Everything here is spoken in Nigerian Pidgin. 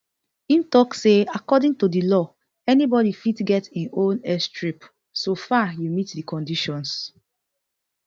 im tok say according to di law anybodi fit get im own airstrip soo far you meet di conditions